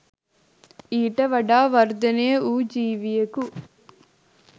ඊට වඩා වර්ධනය වූ ජීවියකු